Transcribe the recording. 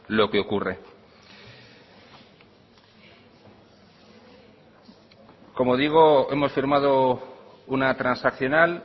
lo que ocurre como digo hemos firmado una transaccional